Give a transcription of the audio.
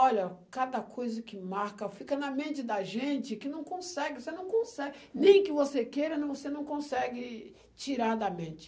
Olha, cada coisa que marca fica na mente da gente que não consegue, você não consegue, nem que você queira, não você não consegue tirar da mente.